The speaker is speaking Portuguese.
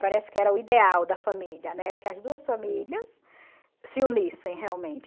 Parece que era o ideal da família, né, era que as duas famílias se unissem realmente.